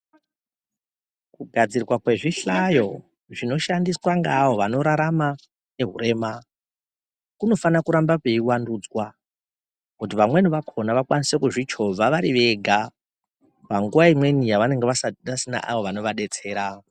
Kugadzirwa kwezvihlayo zvinoshandiswa nge ava vanorarama ngewurema, kunofanira kuramba kuyivandudzva kuti vamweni vakhona vakwanise kuzvichova varivega, panguwa imweni yavanenge vasina awo vanovadetsera awa..